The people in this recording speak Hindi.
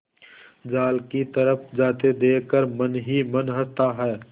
जाल की तरफ जाते देख कर मन ही मन हँसता है